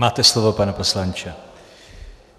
Máte slovo, pane poslanče.